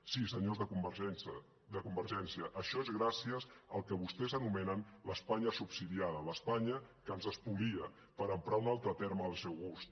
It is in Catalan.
sí senyors de convergència això és gràcies al que vostès anomenen l’espanya subsidiada l’espanya que ens espolia per emprar un altre terme del seu gust